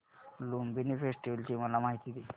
Lumbini festival ची मला माहिती दे